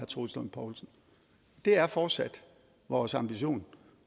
troels lund poulsen det er fortsat vores ambition